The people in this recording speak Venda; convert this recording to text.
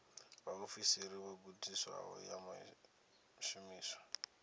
vhaofisiri vho gudisiwaho ya shumiswa